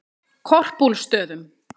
Korpúlfsstöðum